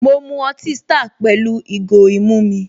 Mọ mu ọtí star pẹ̀lú ìgò ìmu mi